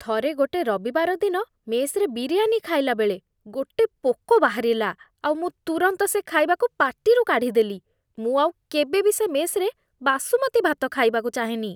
ଥରେ ଗୋଟେ ରବିବାର ଦିନ ମେସ୍‌ରେ ବିରିୟାନୀ ଖାଇଲାବେଳେ, ଗୋଟେ ପୋକ ବାହାରିଲା ଆଉ ମୁଁ ତୁରନ୍ତ ସେ ଖାଇବାକୁ ପାଟିରୁ କାଢ଼ିଦେଲି । ମୁଁ ଆଉ କେବେ ବି ସେ ମେସ୍ରେ ବାସୁମତୀ ଭାତ ଖାଇବାକୁ ଚାହେଁନି ।